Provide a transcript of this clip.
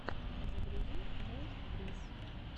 загрузи мэй брисс